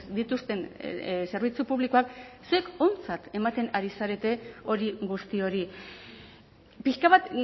dituzten zerbitzu publikoak zuek ontzat ematen ari zarete hori guzti hori pixka bat